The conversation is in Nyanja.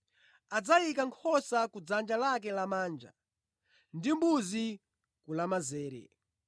Adzayika nkhosa ku dzanja lake lamanja ndi mbuzi ku lamanzere.